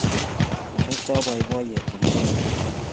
Marekotpi boiboiyet komamiten rirek